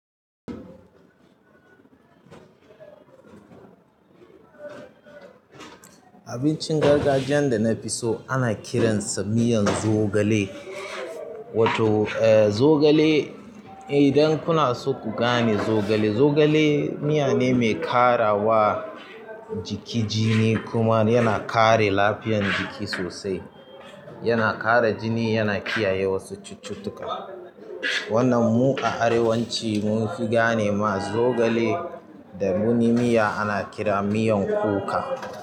Abincin gargajiyan da na fi so ana kiransa miyan zogale. Wato eh zogale idan kuna so ku gane zogale, zogale miya ne mai ƙara wa jiki jini kuma yana kare lafiyan jiki sosai. Yana ƙara jini yana kiyaye wasu cututtuka. Wannan mu a arewacin mun fi gane ma zogale da wani miya ana kira miyan kuka.